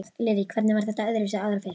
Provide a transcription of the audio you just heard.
Lillý: Hvernig var þetta öðruvísi áður fyrr?